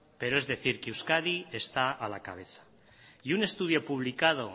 pero es decir que euskadi está a la cabeza y un estudio publicado